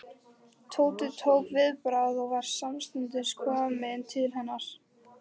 Tóti tók viðbragð og var samstundis kominn til hennar.